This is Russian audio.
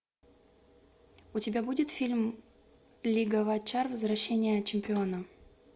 у тебя будет фильм лига вотчкар возвращение чемпиона